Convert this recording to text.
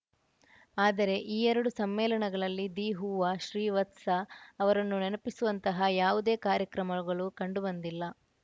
ಆದರೆ ಈ ಎರಡು ಸಮ್ಮೇಳನಗಳಲ್ಲಿ ದಿ ಹುವಾ ಶ್ರೀವತ್ಸ ಅವರನ್ನು ನೆನಪಿಸುವಂತಹ ಯಾವುದೇ ಕಾರ್ಯಕ್ರಮಗಳು ಕಂಡು ಬಂದಿಲ್ಲ